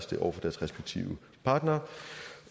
det over for deres respektive partnere